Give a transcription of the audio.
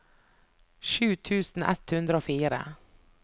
sju tusen ett hundre og fire